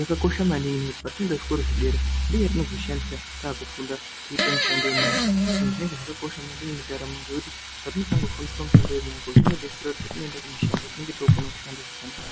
yakakosha maningi, petinoenda kuzvikora zvedera, ndiyo yetinozoshandisa taakufunda kuita mishando yemaoko. Ende zvinenge zvakakosha maningi mundaramo, ngekuti petinotanga kufundiswa mushando yemaoko, zvinodetsera kuti patinoenda kumushando, tinenge tookona kushanda zvakanaka.